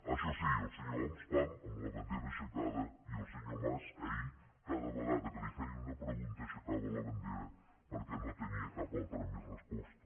això sí el senyor homs pam amb la bandera aixecada i el senyor mas ahir cada vegada que li feien una pregunta aixecava la bandera perquè no tenia cap altra més resposta